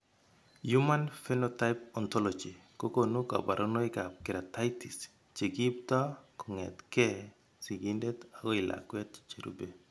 Human Phenotype Ontology kokonu kabarunoikab Keratitis che kiipto kong'etke sigindet akoi lakwet cherube.